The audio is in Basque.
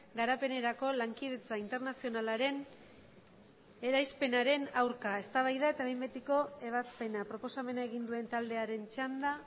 garapenerako lankidetza internazionalaren eraispenaren aurka eztabaida eta behin betiko ebazpena proposamena egin duen taldearen txanda